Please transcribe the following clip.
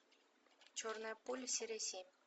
черная пуля серия семь